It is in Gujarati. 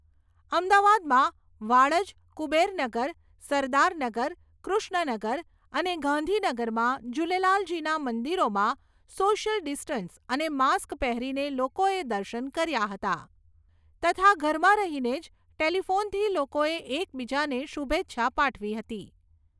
અમદાવાદમાં વાડજ, કુબેરનગર, સરદારનગર, કૃષ્ણનગર અને ગાંધીનગરમાં જુલેલાલજીના મંદિરોમાં સોશિયલ ડિસ્ટન્સ અને માસ્ક પહેરીને લોકોએ દર્શન કર્યાં હતાં તથા ઘરમાં રહીને જ ટેલીફોનથી લોકોએ એકબીજાને શુભેચ્છા પાઠવી હતી